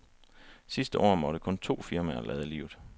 Sidste år måtte kun to firmaer lade livet.